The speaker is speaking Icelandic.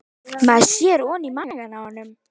Maður sér ofan í maga á honum